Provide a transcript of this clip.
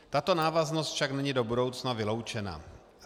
Tato návaznost však není do budoucna vyloučena.